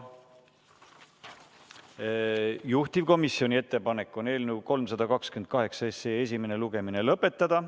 Juhtivkomisjoni ettepanek on eelnõu 328 esimene lugemine lõpetada.